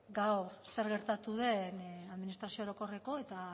gaur zer gertatu den administrazio orokorreko eta